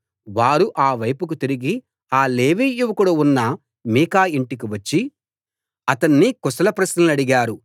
వారు ఆ వైపుకు తిరిగి ఆ లేవీ యువకుడు ఉన్న మీకా ఇంటికి వచ్చి అతణ్ణి కుశల ప్రశ్నలడిగారు